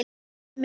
Elsku brói minn.